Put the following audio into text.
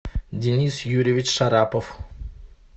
денис юрьевич шарапов